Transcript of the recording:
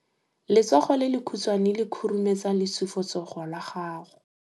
Letsogo le lekhutshwane le khurumetsa lesufutsogo la gago.